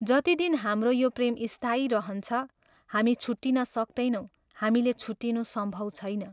जति दिन हाम्रो यो प्रेम स्थायी रहन्छ, हामी छुट्टिन सक्तैनौँ हामीले छुट्टिनु सम्भव छैन।